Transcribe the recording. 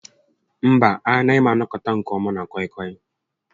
Mba, a naghị m anọkwat nke ọma na kọị kọị